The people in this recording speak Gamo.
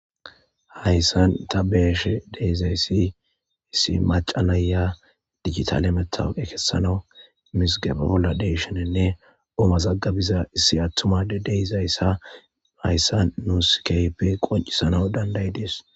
Haysan ta be'ashe dizay issi maca na'ya digitale matawoqiya kesanawu mizigeba bolla de'ishininne oo mazigabiza issi atuma Adey de'izaysa haysan nuusi keehippe qoncisanawu danda'idesi.